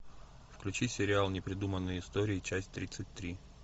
включи сериал непридуманные истории часть тридцать три